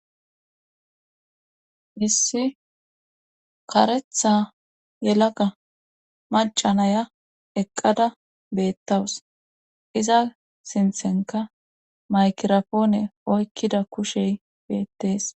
hissi karetha yelaka macanaya eqqada beettawus iza sinthenka maykirapoone oykkida kushey beettees